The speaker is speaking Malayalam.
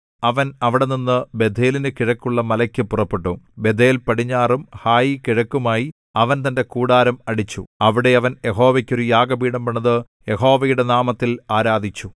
അവൻ അവിടെനിന്ന് ബേഥേലിനു കിഴക്കുള്ള മലയ്ക്ക് പുറപ്പെട്ടു ബേഥേൽ പടിഞ്ഞാറും ഹായി കിഴക്കുമായി അവൻ തന്റെ കൂടാരം അടിച്ചു അവിടെ അവൻ യഹോവയ്ക്ക് ഒരു യാഗപീഠം പണിതു യഹോവയുടെ നാമത്തിൽ ആരാധിച്ചു